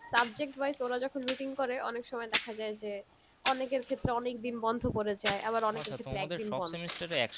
subject-wise ওরা যখন routine করে অনেক সময় দেখা যায় যে অনেকের ক্ষেত্রে অনেকদিন বন্ধ পরে যায় আবার অনেকের ক্ষেত্রে একদিন বন্ধ